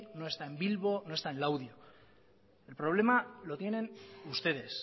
en legazpi no está en bilbo no está en laudio el problema lo tienen ustedes